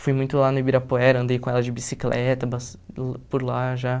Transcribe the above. Fui muito lá no Ibirapuera, andei com ela de bicicleta, pass uh por lá já.